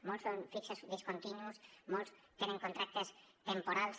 molts són fixos discontinus molts tenen contractes temporals